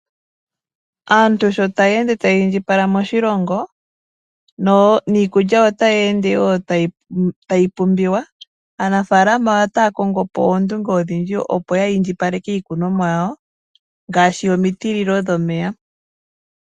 Aantu sho taya ende taya indjipala moshilongo niikulya ota yeende wo tayi pumbiwa. Aanafalama otaya kongopo ondunge odhindji opo ya indjipaleke iikunomwa yawo ngaashi omitililo dhomeya.